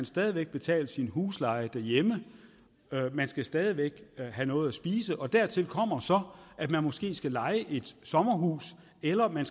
stadig væk betale sin husleje derhjemme man skal stadig væk have noget at spise og dertil kommer så at man måske skal leje et sommerhus eller at man